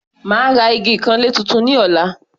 Màá ra igi ìkanlé tuntun ní ọ̀la.